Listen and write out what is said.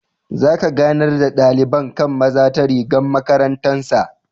Za ka ganar da dalibain kai'n maza ta rigan makarantan sa.